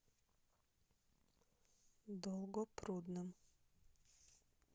долгопрудным